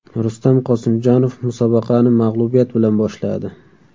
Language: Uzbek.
Rustam Qosimjonov musobaqani mag‘lubiyat bilan boshladi.